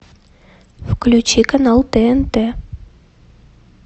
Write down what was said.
включи канал тнт